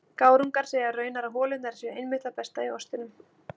Gárungarnir segja raunar að holurnar séu einmitt það besta í ostinum.